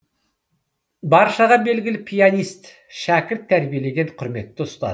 баршаға белгілі пианист шәкірт тәрбиелеген құрметті ұстаз